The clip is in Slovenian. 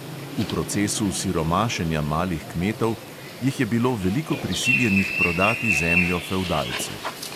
V procesu siromašenja malih kmetov jih je bilo veliko prisiljenih prodati zemljo fevdalcu.